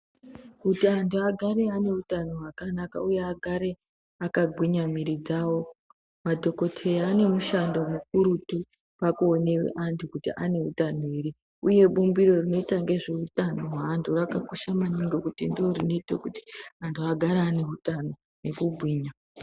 Kuti antu agare ane utano hwakanaka uye agare amagwinya mwiri dzavo madhokodheya ane mushando mukurutu pakuone antu kuti ane utano ere uye bumbiro rinoita nezveutano hweantu vakakosha maningi ngekuti ndorinoita kuti antu agare aneutano nekugwinya.